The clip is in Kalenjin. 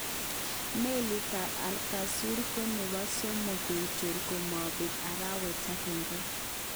Melit tab Al Kausar ko nebo somok kechor komobek arawet agenge.